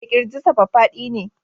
Eh Kirjinsa faffadi ne